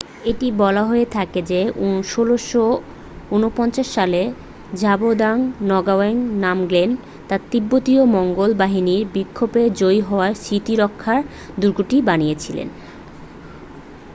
এটি বলা হয়ে থাকে যে 1649 সালে ঝাবদ্রাং নগাও্যাং নামগ্যেল তার তিব্বতী মঙ্গোল বাহিনীর বিপক্ষে জয়ী হওয়ার স্মৃতিরক্ষায় দূর্গটি বানিয়েছিলেন